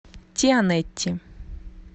тианети